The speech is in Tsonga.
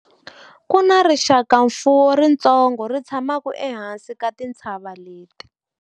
ku na rixakamfuwo ritsongo ri tshamaka ehansi ka tintshava leti